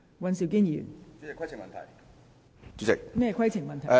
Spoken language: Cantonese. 尹議員，你有甚麼規程問題？